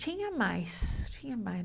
Tinha mais, tinha mais.